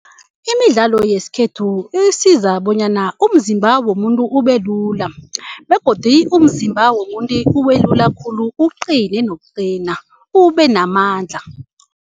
Imidlalo yesikhethu isiza bonyana umzimba womuntu ubelula begodu umzimba womuntu ubelula khulu uqine nokuqina ubenamandla.